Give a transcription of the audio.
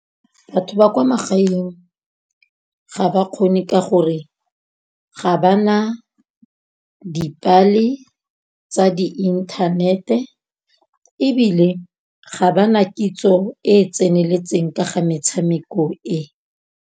Batho ba kwa magaeng ga ba kgone ka gore, ga ba na dipale tsa di-internet-e ebile, ga bana kitso e e tseneletseng ka ga metshameko e.